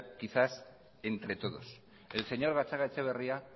quizás entre todos el señor gatzagaetxebarria